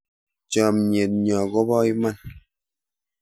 Chomyet nyoo kopo iman